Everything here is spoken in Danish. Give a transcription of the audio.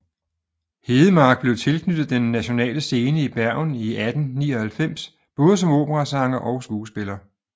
Hedemark blev tilknyttet Den Nationale Scene i Bergen i 1899 både som operasanger og skuespiller